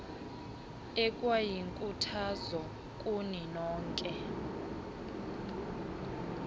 ekwayinkuthazo kuni nonke